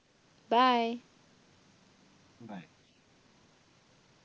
bye